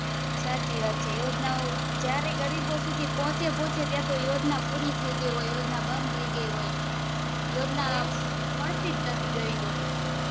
સાચી વાત છે યોજના ઓં ગરીબ સુધી પોહચે પોહચે ત્યાં સુધી યોજના પૂરી થઈ ગઈહોય યોજના બંધ થઈ ગઈ હોય યોજના